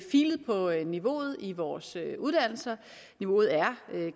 filet på niveauet i vores uddannelser og niveauet er